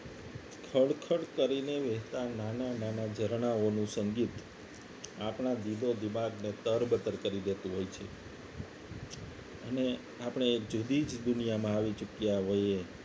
ખડખડ કરીને વેચનાર નાના નાના ઝરણાઓનું સંગીત આપણા દીદો દિમાગને તરબતર કરી દેતું હોય છે અને આપણે એક જુદી જ દુનિયામાં આવી ચૂક્યા હોઈએ